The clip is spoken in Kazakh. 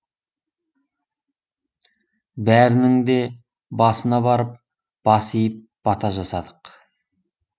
бәрінің де басына барып бас иіп бата жасадық